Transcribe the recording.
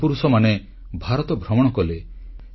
ଏ ମହାପୁରୁଷମାନେ ଭାରତ ଭ୍ରମଣ କଲେ